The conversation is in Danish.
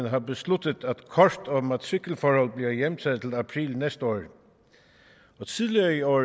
har besluttet at kort og matrikelforhold bliver hjemtaget til april næste år tidligere i år